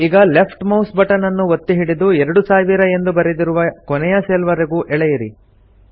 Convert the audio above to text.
ಈಗ left mouse button ನ್ನು ಒತ್ತಿ ಹಿಡಿದು 2000 ಎಂದು ಬರೆದಿರುವ ಕೊನೆಯ ಸೆಲ್ ವರೆಗೂ ಎಳೆಯಿರಿ